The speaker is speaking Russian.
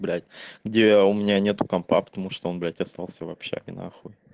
блять где у меня нету компа потому что он блять остался в общаге нахуй